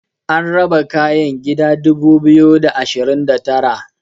an raba kayan gida dubu biyu da ashirin da Tara